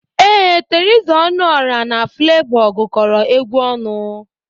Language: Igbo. Ee, Theresa Ọnụọra na Flevọ gụkọrọ egwu ọnụ.